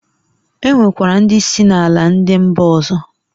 E nwekwara ndị si na ala ndi mba ọzọ.